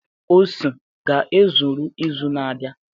ose ga-ezuru izu na-abịa?